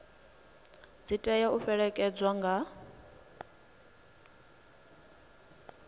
dzi tea u fhelekedzwa nga